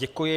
Děkuji.